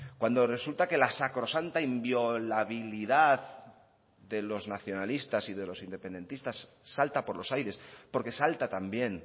cuando resulta que la sacrosanta inviolabilidad de los nacionalistas y de los independentistas salta por los aires porque salta también